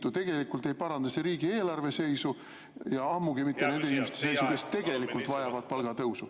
See tegelikult ei paranda riigieelarve seisu ja ammugi mitte nende inimeste seisu, kes tegelikult vajavad palgatõusu.